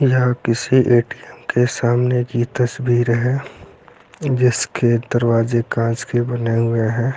यह किसी ए_टी_एम के सामने की तस्वीर है जिसके दरवाजे काँच के बने हुए है।